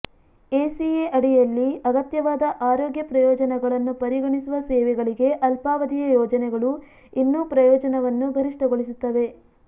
ACA ಅಡಿಯಲ್ಲಿ ಅಗತ್ಯವಾದ ಆರೋಗ್ಯ ಪ್ರಯೋಜನಗಳನ್ನು ಪರಿಗಣಿಸುವ ಸೇವೆಗಳಿಗೆ ಅಲ್ಪಾವಧಿಯ ಯೋಜನೆಗಳು ಇನ್ನೂ ಪ್ರಯೋಜನವನ್ನು ಗರಿಷ್ಠಗೊಳಿಸುತ್ತವೆ